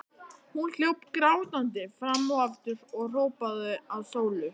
Hún hljóp grátandi fram og aftur og hrópaði á Sólu.